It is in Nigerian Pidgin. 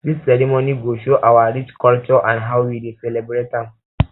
dis ceremony go show our rich culture and how we dey celebrate am